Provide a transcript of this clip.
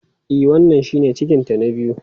E, wannan shine cikinta na biyu.